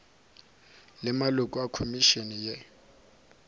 le maloko a khomišene ye